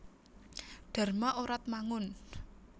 Dharma Oratmangun